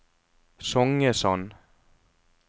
Songesand